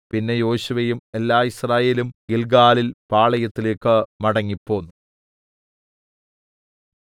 പിന്നെ യോശുവയും എല്ലാ യിസ്രായേലും ഗില്ഗാലിൽ പാളയത്തിലേക്ക് മടങ്ങിപ്പോന്നു